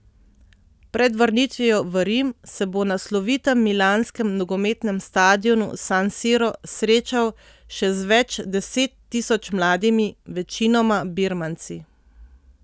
Pred vrnitvijo v Rim se bo na slovitem milanskem nogometnem stadionu San Siro srečal še z več deset tisoč mladimi, večinoma birmanci.